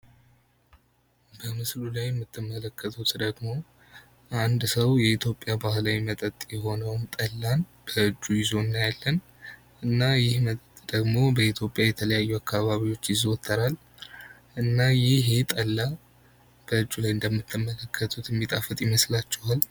በምስሉ ላይ የምትመለከቱት ደግሞ አንድ ሰው በኢትዮጵያ ባህላዊ መጥጥ የሆነውን ጠላን በእጁ ይዞ እናየዋለን እና ይኽ መጠጥ ደግሞ በኢትዮጵያ የተለያዩ አካባቢዎች ይዞተራል እና ይኸ ጠላ በእጁ ይዞት እንደምንመለከተው የሚጣፍጥ ይመስላችኋል?